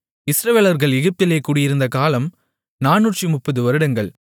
இஸ்ரவேலர்கள் எகிப்திலே குடியிருந்த காலம் நானூற்றுமுப்பது வருடங்கள்